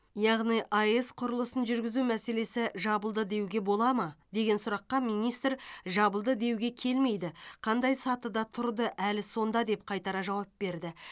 яғни аэс құрылысын жүргізу мәселесі жабылды деуге бола ма деген сұраққа министр жабылды деуге келмейді қандай сатыда тұрды әлі сонда деп қайтара жауап берді